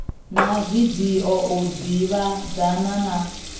na video u ḓivhadzana na